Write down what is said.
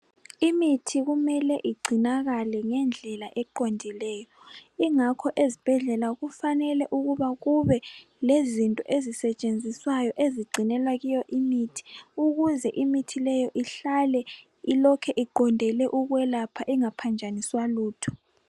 Imithi kumele igcinakale ngendlela eqondileyo ingakho ezibhedlela kufanele ukuba kube lezinto ezisetshenziswayo ezigcinela kiyo imithi ukuze imithi leyo ihlale ilokhu iqondele ukwelapha ingaphanjaniswa lutho.